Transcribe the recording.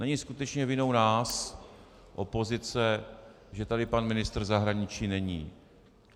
Není skutečně vinou nás, opozice, že tady pan ministr zahraničí není.